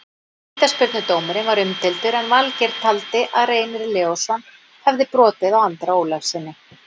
Vítaspyrnudómurinn var umdeildur en Valgeir taldi að Reynir Leósson hefði brotið á Andra Ólafssyni.